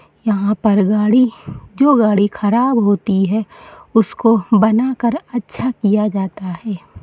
यहाँ पर गाड़ी जो गाड़ी ख़राब होती है उसको बना कर अच्छा किया जाता है।